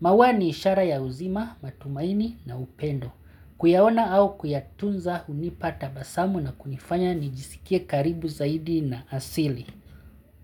Maua ni ishara ya uzima, matumaini na upendo. Kuyaona au kuyatunza hunipa tabasamu na kunifanya nijisikie karibu zaidi na asili.